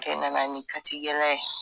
E nana ni katigɛlɛya ye